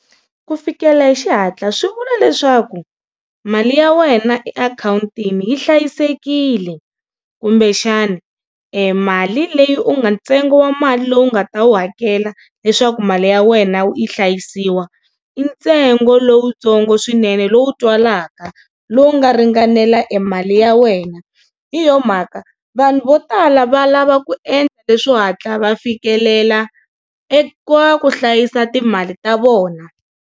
Ku fikela hi xihatla swi vula leswaku mali ya wena e akhawuntini yi hlayisekile kumbe xana e mali leyi u nga ntsengo wa mali lowu nga ta wu hakela leswaku mali ya wena yi hlayisiwa i ntsengo lowutsongo swinene lowu twalaka lowu nga ringanela e mali ya wena hi yona mhaka vanhu vo tala va lava ku endla leswo hatla va fikelela eka ku hlayisa timali ta vona.